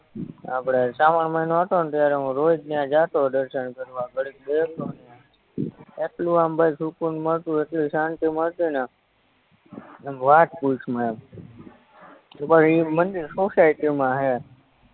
આપણે શ્રાવણ મયનો હતોને ત્યારે હું રોજ ન્યા જતો દર્શન કરવા ઘડીક બેહતો ન્યા એટલું આમ ભાઈ સુકુનમાં હતું એટલી શાંતિમાં હતુને આમ વાત પૂછમાં એમ એકવાર ઇ મંદિર સોસાયટીમાં હે